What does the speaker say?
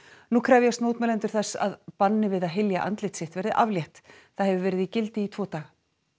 nú krefjast mótmælendur þess að banni við að hylja andlit sitt verði aflétt það hefur verið í gildi í tvo daga